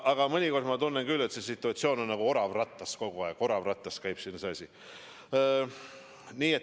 Aga mõnikord ma tunnen küll, et see situatsioon on nagu orav rattas olemine, kogu aeg nagu orav rattas käib siin see asi.